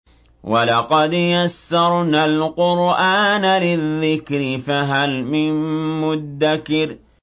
وَلَقَدْ يَسَّرْنَا الْقُرْآنَ لِلذِّكْرِ فَهَلْ مِن مُّدَّكِرٍ